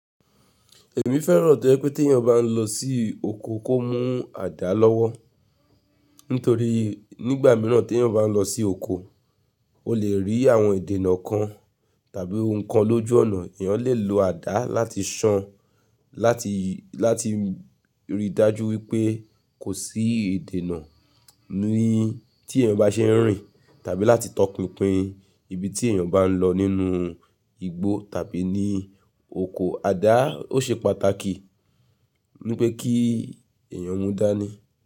Èmi fẹ́ràn tó jẹ́ pé tí ẹ̀yin bá ń lọ sí oko kó mú àdá lọ́wọ́ nítorí nígbà míràn tí èèyàn bá ń lọ sí oko oo leri àwọn ìdènà tàbí nǹkan lójú ọ̀nà ẹ̀yàn lè lo àdá láti ṣàn, láti, láti rí i dájú wípé kò sí idèèná ni tí èyàn bá ṣe ń rìn tàbí láti tọpinpin ibi tí èyàn bá ń lọ nínú igbó tàbí ní oko. Àdá ó ṣe pàtàkì ní pé kí èyàn mú dání.